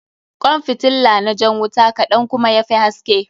Kwan fitilla na jan wuta kaɗan kuma ya fi haske.